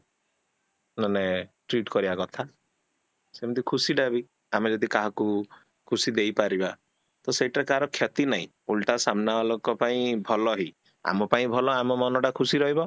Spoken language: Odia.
ମାନେ treat କରିବା କଥା, ସେମିତି ଖୁସିଟାବି ଆମେ ଯଦି କାହାକୁ ଖୁସି ଦେଇ ପରିବା ତ ସେଇଟା ତାର ଖେତୀ ନାହିଁ ଉଲ୍ଟା ସାମ୍ନା ବାଲାଙ୍କ ପାଇଁ ଭଲ ହିଁ ଆମ ପାଇଁ ଭଲ ଆମ ମନଟା ଖୁସି ରହିବ